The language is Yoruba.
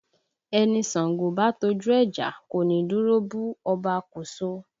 Ẹni Ṣàngó bá tọ́jú ẹ jà, kò ní dúró bú Ọba Koso